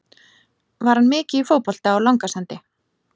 Var hann mikið í fótbolta á Langasandi?